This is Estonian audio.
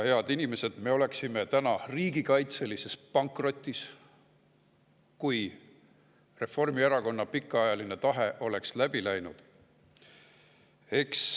Head inimesed, me oleksime täna riigikaitselises pankrotis, kui Reformierakonna pikaajaline tahe oleks läbi läinud.